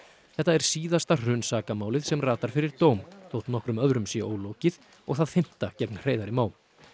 þetta er síðasta sem ratar fyrir dóm þótt nokkrum öðrum sé ólokið og það fimmta gegn Hreiðari Má